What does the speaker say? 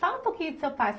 Fala um pouquinho do seu pai.